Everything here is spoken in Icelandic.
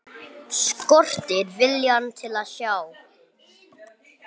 Skortir viljann til að sjá.